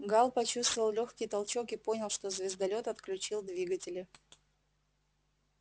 гаал почувствовал лёгкий толчок и понял что звездолёт отключил двигатели